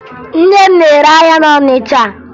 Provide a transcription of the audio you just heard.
Nne m na-ere ahịa na Ọnịcha